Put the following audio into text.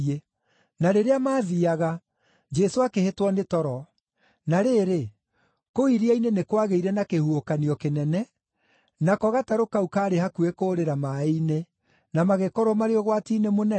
Na rĩrĩa maathiiaga Jesũ akĩhĩtwo nĩ toro. Na rĩrĩ, kũu iria-inĩ nĩ kwagĩire na kĩhuhũkanio kĩnene, nako gatarũ kau kaarĩ hakuhĩ kũũrĩra maaĩ-inĩ, na magĩkorwo marĩ ũgwati-inĩ mũnene.